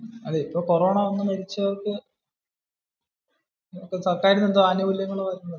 ഇപ്പോ കോറോണോ വന്നു മരിച്ചവർക്കു സർക്കാരിന് എന്തോ ആനുകൂല്യങ്ങൾ ഒക്കെ